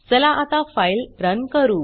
चला आता file run करू